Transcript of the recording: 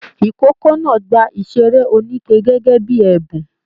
Ikòkò náà gbà iṣere oníke gẹgẹ bíi ẹbùn.